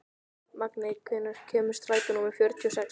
Magney, hvenær kemur strætó númer fjörutíu og sex?